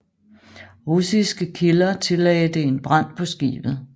Russiske kilder tillagde det en brand på skibet